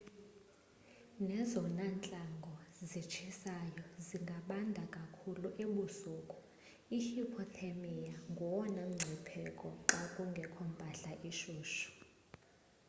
nezona ntlango zitshisayo zingabanda kakhulu ebusuku i hupothermia ngowona mngcipheko xa kungekho mpahla ishushu